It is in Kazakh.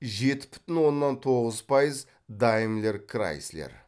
жеті бүтін оннан тоғыз пайыз даймлер крайслер